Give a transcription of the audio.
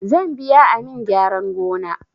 Zan biya amin gyaran gona